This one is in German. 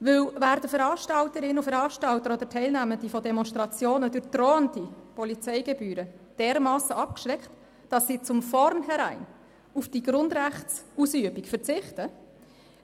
Denn werden Veranstalterinnen und Veranstalter und Teilnehmende von Demonstrationen durch drohende Polizeigebühren dermassen abgeschreckt, dass sie von vornherein auf die Grundrechtsausübung verzichten,